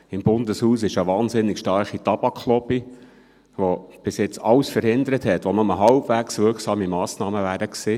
Im Bundeshaus gibt es eine wahnsinnig starke Tabaklobby, welche bis jetzt alles verhindert hat, was nur halbwegs wirksame Massnahmen gewesen wären.